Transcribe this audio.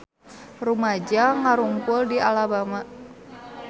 Rumaja ngarumpul di Alabama